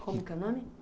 Como que é o nome?